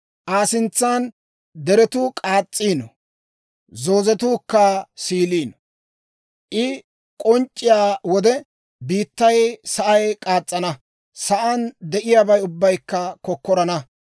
Aa sintsan deretuu k'aas's'iino; zoozetuukka siiliino. I k'onc'c'iyaa wode biittay sa'ay k'aas's'ana; sa'aan de'iyaabay ubbaykka kokkorana.